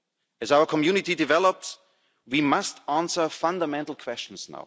As our community develops, we must now answer fundamental questions.